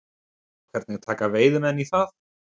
Hvernig taka veiðimenn í það?